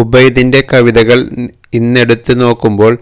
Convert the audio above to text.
ഉബൈദിന്റെ കവിതകള് ഇന്നെടുത്ത് നോക്കുമ്പോള്